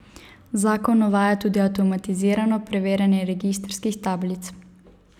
Zakon uvaja tudi avtomatizirano preverjanje registrskih tablic.